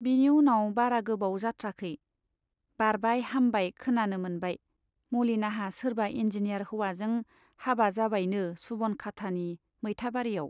बिनि उनाव बारा गोबाव जाथ्राखै , बारबाय हामबाय खोनानो मोनबाय, मलिनाहा सोरबा इन्जिनियार हौवाजों हाबा जाबायनो सुब'नखाटानि मैथाबारीयाव।